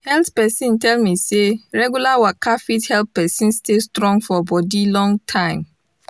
health pesin tell me say regular waka fit help pesin stay strong for bodi long time